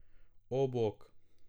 O, bog!